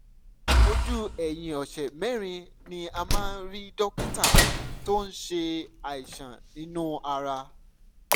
ojú ẹ̀yìn ọ̀sẹ̀ mẹ́rin ni ẹ máa rí dókítà tó ń ṣe àìsàn inú ara